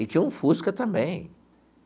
E tinha um Fusca também.